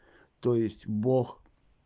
то есть бог